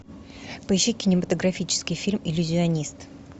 поищи кинематографический фильм иллюзионист